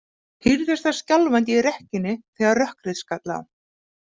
Hírðist þar skjálfandi í rekkjunni þegar rökkrið skall á.